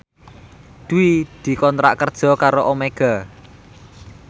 Dwi dikontrak kerja karo Omega